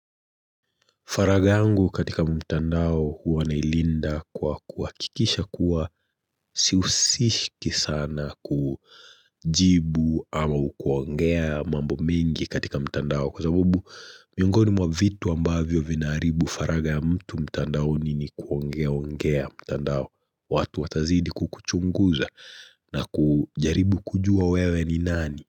Faragha yangu katika mtandao huwa nailinda kwa kuhakikisha kuwa siusishiki sana kujibu au kuongea mambo mingi katika mtandao Kwa sababu miongoni mwa vitu ambavyo vinaharibu faragha ya mtu mtandaoni ni kuongea mtandao watu watazidi kukuchunguza na kujaribu kujua wewe ni nani?